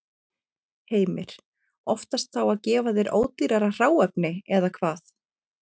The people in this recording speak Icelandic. Heimir: Oftast þá að gefa þér ódýrara hráefni, eða hvað?